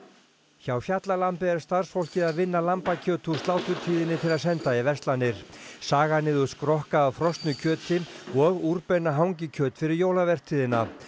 hjá fjallalambi er starfsfólkið að vinna lambakjöt úr sláturtíðinni til að senda í verslanir saga niður skrokka af frosnu kjöti og úrbeina hangikjöt fyrir jólavertíðina